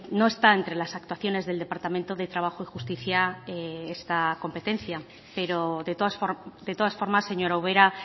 no está entre las actuaciones del departamento de trabajo y justicia esta competencia pero de todas formas señora ubera